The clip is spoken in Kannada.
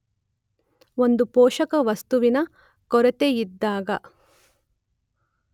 ಒಂದು ಪೋಷಕವಸ್ತುವಿನ ಕೊರತೆಯಿದ್ದಾಗ